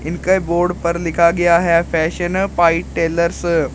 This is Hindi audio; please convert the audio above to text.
इनके बोर्ड पर लिखा गया है फैशन फाइट टेलर्स ।